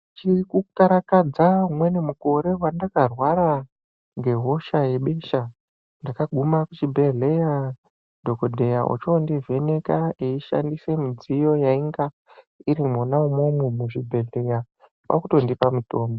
Ndichiri kukarakadza umweni mukore wandakarwara ngehosha gebesha, ndakaguma kuchibhedhleya dhokodheya ochondivheneka eishandisa midziyo yainga iri mwona umwomwo muchibhohleya, kwakutondipa mutombo.